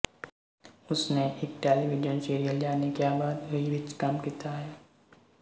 ਉਸਨੇ ਇੱਕ television serial Jaane Kya Baat Hui ਵਿੱਚ ਕੰਮ ਕੀਤਾ ਹੈ